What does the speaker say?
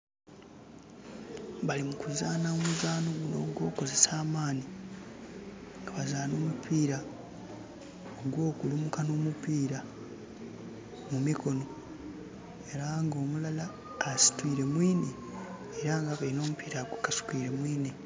Bali mu kuzaanha omuzano gunno ogwokozesa amani nga bazaanha omupiira ogwo kulumuka no nomupiira mu mikono era nga omulala asitwire mwine era abaire no mupiira agukasukire mwine